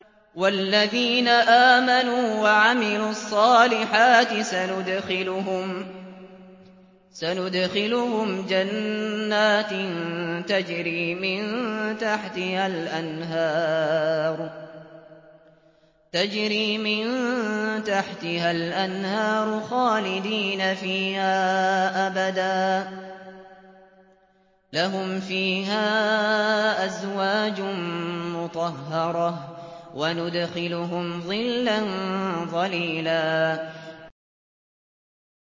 وَالَّذِينَ آمَنُوا وَعَمِلُوا الصَّالِحَاتِ سَنُدْخِلُهُمْ جَنَّاتٍ تَجْرِي مِن تَحْتِهَا الْأَنْهَارُ خَالِدِينَ فِيهَا أَبَدًا ۖ لَّهُمْ فِيهَا أَزْوَاجٌ مُّطَهَّرَةٌ ۖ وَنُدْخِلُهُمْ ظِلًّا ظَلِيلًا